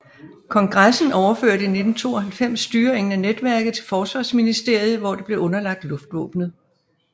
Kongressen overførte i 1992 styringen af netværket til Forsvarsministeriet hvor det blev underlagt luftvåbnet